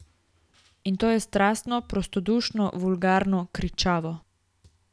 In to je strastno, prostodušno, vulgarno, kričavo...